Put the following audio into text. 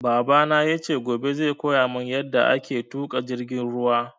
Babana yace gobe zai koyamun yaɗa ake tuƙa jirgin ruwa